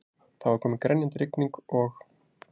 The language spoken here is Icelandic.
Það var komin grenjandi rigning og